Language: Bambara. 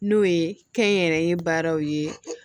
N'o ye kɛnyɛrɛye baaraw ye